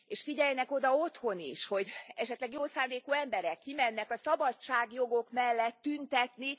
És figyeljenek oda otthon is, hogy esetleg jó szándékú emberek kimennek a szabadságjogok mellett tüntetni.